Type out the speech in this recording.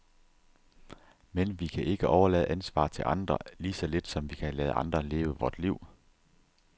Men vi kan ikke overlade ansvaret til andre, lige så lidt som vi kan lade andre leve vort liv.